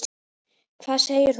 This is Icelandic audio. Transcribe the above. Hvað segir þú pabbi?